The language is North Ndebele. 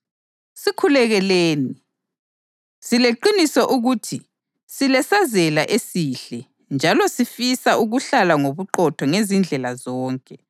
Sikhulekeleni. Sileqiniso ukuthi silesazela esihle njalo sifisa ukuhlala ngobuqotho ngezindlela zonke.